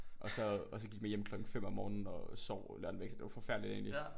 Og så og så gik vi hjem klokken 5 om morgenen og sov lørdagen væk så det var forfærdeligt egentlig